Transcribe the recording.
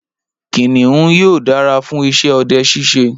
Kìnìún yóò dára fún iṣẹ ọdẹ ṣiṣe.